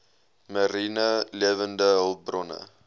mariene lewende hulpbronne